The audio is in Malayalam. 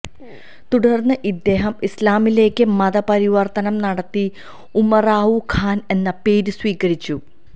തുടർന്ന് ഇദ്ദേഹം ഇസ്ലാമിലേക്കു മതപരിവർത്തനം നടത്തി ഉമറാവു ഖാൻ എന്ന പേരു സ്വീകരിച്ചു